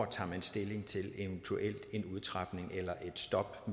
tager stilling til en eventuel udtrapning eller et stop